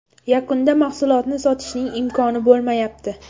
Yakunda mahsulotni sotishning imkoni bo‘lmayapti.